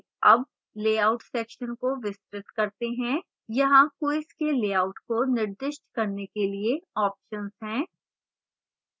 अब layout section को विस्तृत करते हैं यहाँ quiz के लेआउट को निर्दिष्ट करने के लिए options हैं